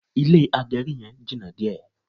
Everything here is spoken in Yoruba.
Ilé agẹrí yẹn jìnà díẹ̀